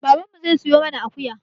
Baban mu zai siya mana akuya.